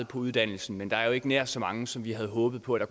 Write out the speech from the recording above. på uddannelsen men der er jo ikke nær så mange som vi havde håbet på at